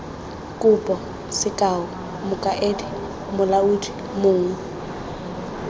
kopo sekao mokaedi molaodi mong